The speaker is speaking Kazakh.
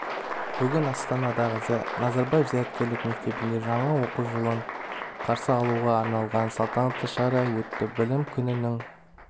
бүгін астанадағы назарбаев зияткерлік мектебінде жаңа оқу жылын қарсы алуға арналған салтанатты шара өтті білім күнінің